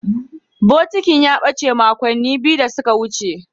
Bokitin ya bace makonni biyu da suka wuce.